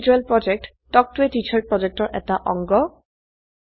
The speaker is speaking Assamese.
কথন শিক্ষণ প্ৰকল্প তাল্ক ত a টিচাৰ প্ৰকল্পৰ এটা অংগ